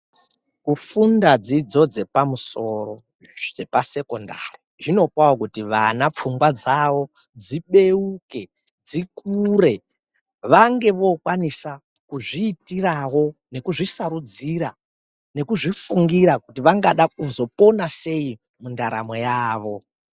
Kufunda dzidzo dzepamusoro zvepasekondari zvinopawo kuti vana pfungwa dzawo dzibeuke dzikure vange vokwanisa kuzviitirawo nekuzvisarudzira nekuzvifungura kuti vangada kuzopona sei mundaramo yavo.